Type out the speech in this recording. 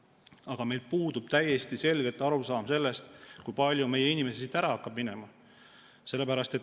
Aga meil puudub täiesti selgelt arusaam sellest, kui palju meie inimesi siit ära hakkab minema.